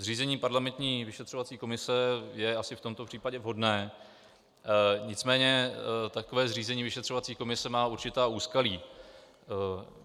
Zřízení parlamentní vyšetřovací komise je asi v tomto případě vhodné, nicméně takové zřízení vyšetřovací komise má určitá úskalí.